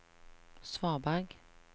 svaberg